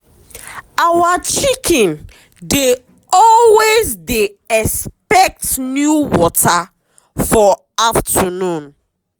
our chicken dey always dey expect new water for afternoon.